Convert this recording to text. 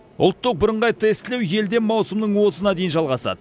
ұлттық бірыңғай тестілеу елде маусымның отызына дейін жалғасады